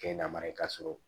Kɛ na mara ye ka sɔrɔ